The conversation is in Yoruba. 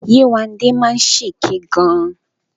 Yéwándé máa ń ṣe èké gan.